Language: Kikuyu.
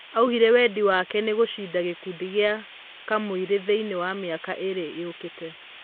Augire wendi wakenĩ gũcinda gĩkundi gĩa Kamũirũthĩiniĩ wa mĩaka ĩrĩ yũkĩye.